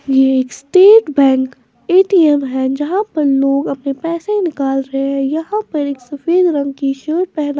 ये एक state bank A T M है जहाँ पर लोग अपने पैसे निकाल रहे हैं यहां पर एक सफेद रंग की शर्ट पहना --